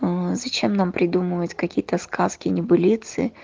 аа зачем нам придумывать какие-то сказки и небылицы